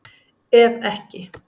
Ef ekki